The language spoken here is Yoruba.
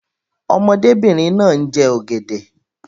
Ọmọdébìnrin náà ń jẹ ọ̀gẹ̀dẹ̀.